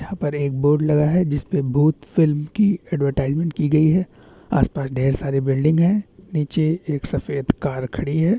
यहाँ पर एक बोर्ड लगा है जिसपे भूत फ़िल्म की एडवरटाइजमेंट की गई है आस - पास ढेर सारे बिल्डिंग है नीचे एक सफेद कार खड़ी है।